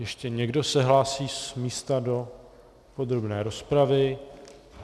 Ještě někdo se hlásí z místa do podrobné rozpravy?